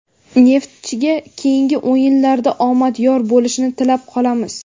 "Neftchi"ga keyingi o‘yinlarda omad yor bo‘lishini tilab qolamiz!.